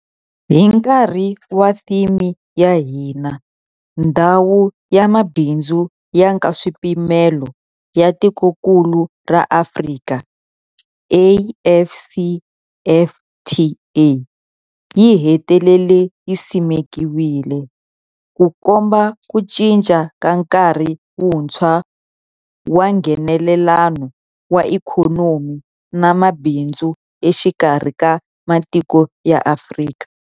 Hi nkarhi wa theme ya hina, Ndhawu ya Mabindzu ya Nkaswipimelo ya Tikokulu ra Afrika, AfCFTA, yi hetelele yi simekiwile, Ku komba ku cinca ka nkarhi wuntshwa wa Nghenelelano wa ikhonomi na mabindzu exikarhi ka matiko ya Afrika.